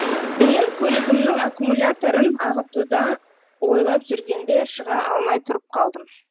мен көлігімнің аккумуляторын ағытуды ойлап жүргенде шыға алмай тұрып қалдым